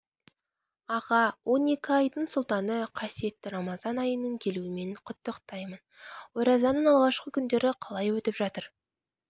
аға он екі айдың сұлтаны қасиетті рамазан айының келуімен құттықтаймын оразаның алғашқы күндері қалай өтіп жатыр